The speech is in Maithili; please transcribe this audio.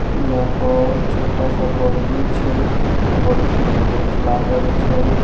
यहाँ पर छोटा सा बाउंड्री छै बाउंड्री में गेट लागल छै।